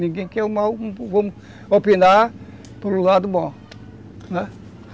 Ninguém quer o mal, vamos opinar pelo lado bom.